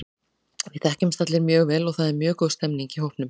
Við þekkjumst allir mjög vel og það er mjög góð stemning í hópnum.